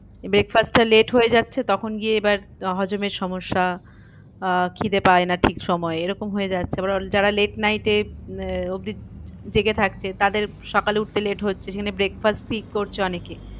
Breakfast টা late হয়ে যাচ্ছে তখন গিয়ে এবার হজমের সমস্যা আহ খিদে পায় না ঠিক সময়ে এরকম হয়ে যাচ্ছে যারা late night এ আহ অব্দি জেগে থাকছে তাদের সকালে উঠতে late হচ্ছে সেখানে breakfast skip করছে অনেকে